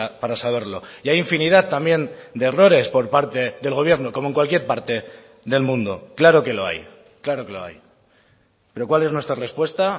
para saberlo y hay infinidad también de errores por parte del gobierno como en cualquier parte del mundo claro que lo hay claro que lo hay pero cuál es nuestra respuesta